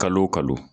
Kalo o kalo